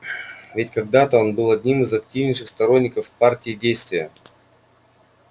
ведь когда-то он был одним из активнейших сторонников партии действия